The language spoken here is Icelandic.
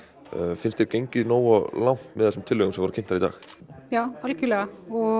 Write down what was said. finnst þér gengið nógu langt með þessum tillögum sem voru kynntar í dag já algjörlega